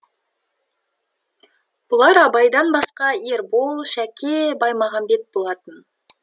бұлар абайдан басқа ербол шәке баймағамбет болатын